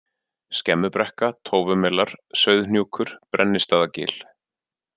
Skemmubrekka, Tófumelar, Sauðhnjúkur, Brennistaðagil